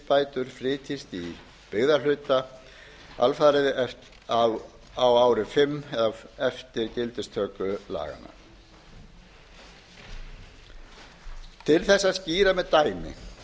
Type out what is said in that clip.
rækjuuppbætur flytjist í byggðahluta alfarið á ári fimm eða eftir gildistöku laganna til þess að skýra með dæmi